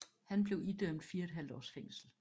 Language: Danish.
Han blev idømt 4½ års fængsel